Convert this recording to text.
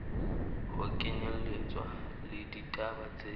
ho kenyelletswa le ditaba tse